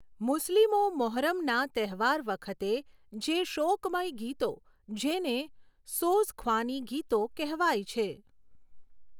મુસ્લિમો મહોરમના તહેવાર વખતે જે શોકમય ગીતો જેને સોઝખ્વાની ગીતો કહેવાય છે.